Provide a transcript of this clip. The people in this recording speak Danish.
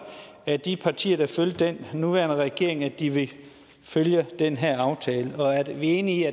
af de partier der følger den nuværende regering at de vil følge den her aftale og er vi enige